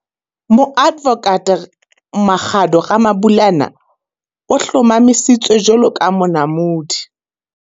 Moadvokate Makhado Ramabulana o hlomamisitswe jwalo ka Monamodi.